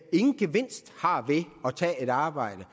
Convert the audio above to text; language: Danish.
ingen gevinst har ved at tage et arbejde